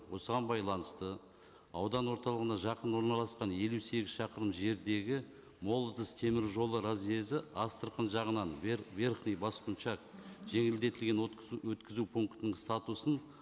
осыған байланысты аудан орталығына жақын орналасқан елу сегіз шақырым жердегі молодость теміржолы разъезі астрахан жағынан верхний баскунчак жеңілдетілген өткізу пунктінің статусын